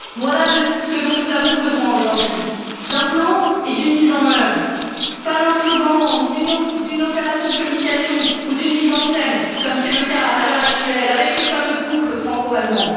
Voilà ce dont nous avons besoin aujourd'hui d'un plan et d'une mise en œuvre, pas d'un slogan, ni d'une opération de communication ou d'une mise en scène comme c'est le cas à l'heure actuelle, avec le fameux couple franco allemand.